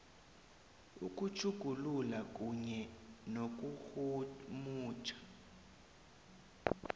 ukutjhugulula kunye nokurhumutjha